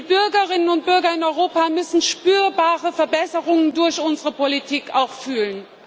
Die Bürgerinnen und Bürger in Europa müssen spürbare Verbesserungen durch unsere Politik auch fühlen.